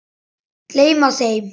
Gleyma þeim.